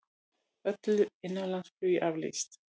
Öllu innanlandsflugi aflýst